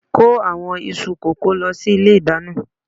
kó àwọn iṣu kókò lọ sí ilé ìdáná.